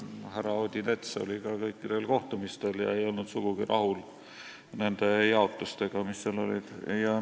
Härra Odinets oli kõikidel kohtumistel ega olnud sugugi rahul nende jaotustega, mis seal olid tekkinud.